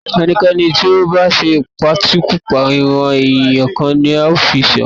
ẹnikẹ́ni tí ó bá ṣe ìpakúpa- ìran-ẹ̀yà kan ni a ó fi sẹ́wọ̀n